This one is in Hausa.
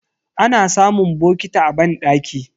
Ana samun bokiti a banɗaki.